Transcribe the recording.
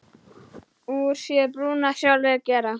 Úr sér brúna sjálfir gera.